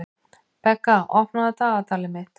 Begga, opnaðu dagatalið mitt.